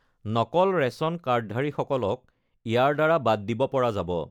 নকল ৰেচন কাৰ্ডধাৰীসকলক ইয়াৰ দ্বাৰা বাদ দিব পৰা যাব।